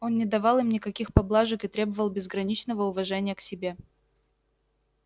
он не давал им никаких поблажек и требовал безграничного уважения к себе